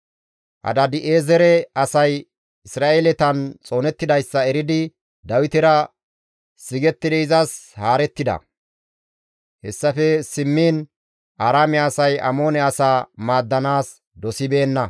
Hadaadi7eezere asay Isra7eeletan xoonettidayssa eridi Dawitera sigettidi izas haarettides; hessafe simmiin Aaraame asay Amoone asaa maaddanaas dosibeenna.